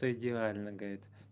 то идеальный гайд